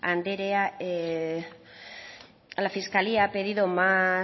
andrea la fiscalía ha pedido más